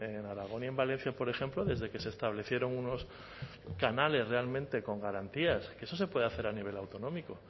en aragón y en valencia por ejemplo desde que se establecieron unos canales realmente con garantías que eso se puede hacer a nivel autonómico